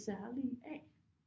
Særlige af